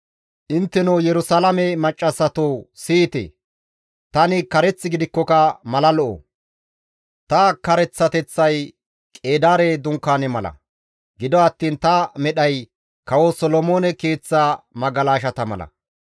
«Intteno Yerusalaame maccassatoo, siyite! Tani kareth gidikkoka mala lo7o. Ta kareththateththay Qeedaare dunkaane mala; gido attiin ta medhay kawo Solomoone keeththa magalashata mala.